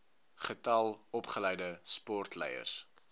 getal opgeleide sportleiers